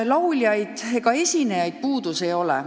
Lauljatest ja muudest esinejatest puudust ei ole.